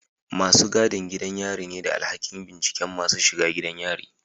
Masu gadin gidan yari ne da alhakin binciken masu shiga gidan yari